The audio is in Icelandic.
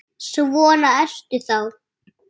Svona ertu þá!